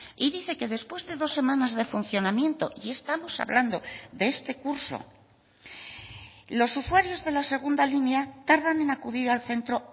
y dice que después de dos semanas de funcionamiento y estamos hablando de este curso los usuarios de la segunda línea tardan en acudir al centro